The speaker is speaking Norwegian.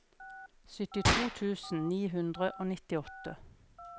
syttito tusen ni hundre og nittiåtte